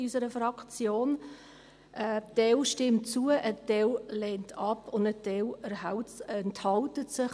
Ein Teil stimmt zu, ein Teil lehnt ab und ein Teil enthält sich;